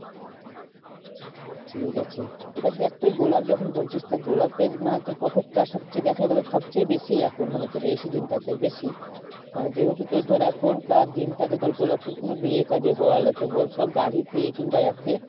ঠিক আছে এবার দেখ তুই গোলাপ যখন বলছিস তা গোলাপের মানে তোর profit টা সব চেয়ে দেখা গেলো সব চেয়ে বেশি এখন মানে তোর এই session টাতে বেশি। মানে যেহেতু তোর ধর এখনকার দিনটাতে তোর গোলাপ ফুল কোনো বিয়ে কাজে বল এতে বল সব গাড়িতে কিংবা এতে